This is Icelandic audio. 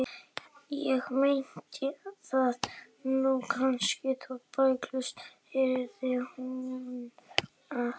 Ég meinti það nú kannski ekki bókstaflega, heyrði hún að